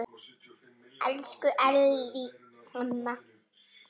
Elsku Ellý amma.